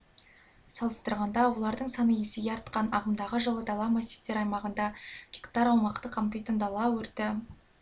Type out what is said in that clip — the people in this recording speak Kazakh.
салыстырғанда олардың саны есеге артқан ағымдағы жылы дала массивтері аймағында гектар аумақты қамтитын дала өрті